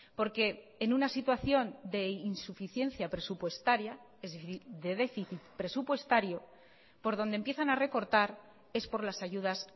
porque en una situación de insuficiencia presupuestaria es decir de déficit presupuestario por donde empiezan a recortar es por las ayudas